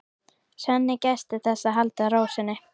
Svenni gætir þess að halda ró sinni.